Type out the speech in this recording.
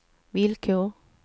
villkor